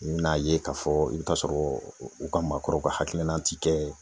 I be n'a ye ka fɔ i be taa sɔrɔ u ka maakɔrɔw ka hakilina ti kɛ